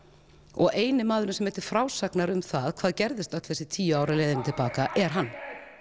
og eini maðurinn sem er til frásagnar um hvað gerðist öll þessi tíu ár á leiðinni til baka er hann